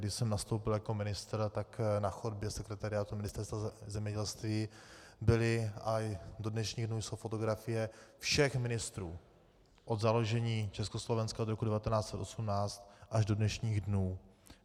Když jsem nastoupil jako ministr, tak na chodbě sekretariátu Ministerstva zemědělství byly a do dnešních dnů jsou fotografie všech ministrů od založení Československa od roku 1918 až do dnešních dnů.